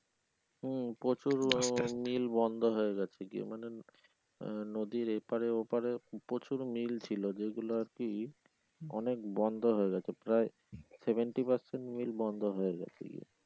হম প্রচুর মিল বন্ধ হয়ে যাচ্ছে গিয়ে মানে আহ নদীর এপারে ওপারে প্রচুর মিল ছিলো যেগুলো আরকি অনেক বন্ধ হয়ে গেছে প্রায় seventy percent মিল বন্ধ হয়ে যাচ্ছে।